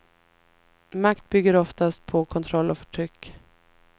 Makt bygger oftast på kontroll och förtryck.